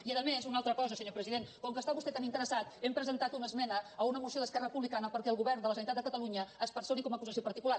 i a més una altra cosa senyor president com que hi està vostè tan interessat hem presentat una esmena a una moció d’esquerra republicana perquè el govern de la generalitat de catalunya es personi com a acusació particular